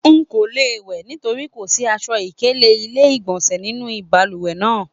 Nko le wẹ nítorí kò sí aṣọ-ikele ilé-igbọnsẹ nínú balùwẹ̀ náà.